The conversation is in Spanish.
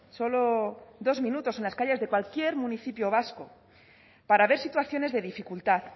solo dos minutos en las calles de cualquier municipio vasco para ver situaciones de dificultad